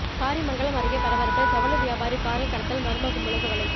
காரிமங்கலம் அருகே பரபரப்பு ஜவுளி வியாபாரி காரில் கடத்தல்மர்ம கும்பலுக்கு வலை